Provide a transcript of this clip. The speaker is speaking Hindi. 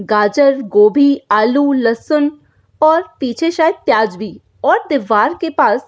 गाजर गोभी आलू लहसन और पीछे शायद प्याज भी और दीवार के पास --